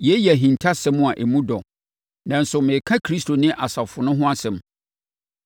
Yei yɛ ahintasɛm a emu dɔ, nanso mereka Kristo ne asafo no ho asɛm.